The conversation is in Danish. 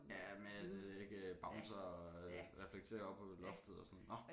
Ja med at det ikke bouncer reflekterer op på loftet og sådan nåh